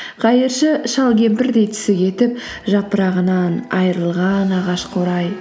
қайыршы шал кемпірдей түсі кетіп жапырағынан айрылған ағаш қурай